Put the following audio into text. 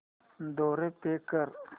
द्वारे पे कर